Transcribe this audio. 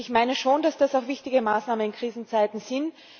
Und ich meine schon, dass das wichtige Maßnahmen in Krisenzeiten sind.